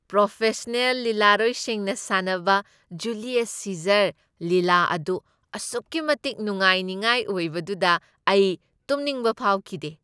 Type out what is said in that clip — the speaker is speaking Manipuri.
ꯄ꯭ꯔꯣꯐꯦꯁꯅꯦꯜ ꯂꯤꯂꯥꯔꯣꯏꯁꯤꯡꯅ ꯁꯥꯟꯅꯕ ꯖꯨꯂꯤꯌꯁ ꯁꯤꯖꯔ ꯂꯤꯂꯥ ꯑꯗꯨ ꯑꯁꯨꯛꯀꯤ ꯃꯇꯤꯛ ꯅꯨꯡꯉꯥꯏꯅꯤꯉꯥꯏꯕ ꯑꯣꯏꯕꯗꯨꯅ ꯑꯩ ꯇꯨꯝꯅꯤꯡꯕ ꯐꯥꯎꯈꯤꯗꯦ ꯫